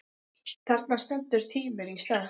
Þarna stendur tíminn í stað.